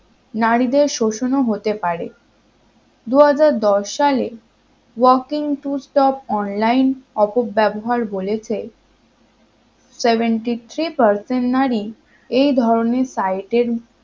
নারীদের শোষণও হতে পারে দুহাজার দশ সালে walking to stop online অপব্যাবহার বলেছে seventy three percent নারী এই ধরনের site এর